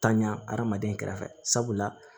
Tanɲa hadamaden kɛrɛfɛ sabula